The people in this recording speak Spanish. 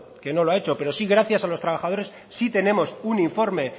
que no lo ha hecho pero gracias a los trabajadores sí tenemos un informe